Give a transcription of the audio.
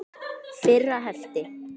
Fyrra hefti.